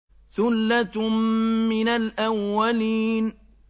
ثُلَّةٌ مِّنَ الْأَوَّلِينَ